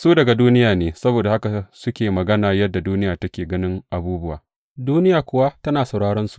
Su daga duniya ne saboda haka suke magana yadda duniya take ganin abubuwa, duniya kuwa tana sauraronsu.